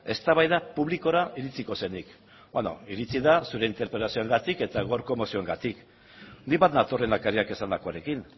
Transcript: eztabaida publikora iritsiko zenik beno iritsi da zure interpelazioarengatik eta gaurko mozioengatik nik bat nator lehendakariak esandakoarekin